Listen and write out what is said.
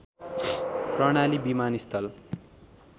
प्रणाली विमानस्थल